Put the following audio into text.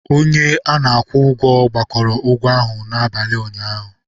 Onye a na-akwụ ụgwọ gbakọrọ ụgwọ ahụ n'abalị ụnyaahụ.